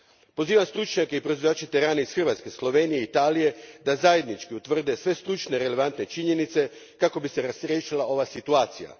Pozivam stručnjake i proizvođače terana iz Hrvatske, Slovenije i Italije da zajednički utvrde sve stručne relevantne činjenice kako bi se razriješila ova situacija.